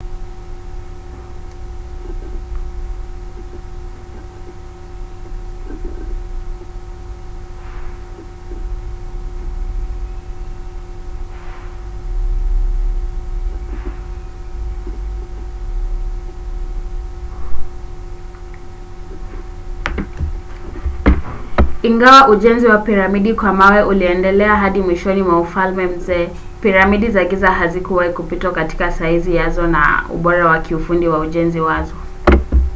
ingawa ujenzi wa piramidi kwa mawe uliendelea hadi mwishoni mwa ufalme mzee piramidi za giza hazikuwahi kupitwa katika saizi yazo na ubora wa kiufundi wa ujenzi wazo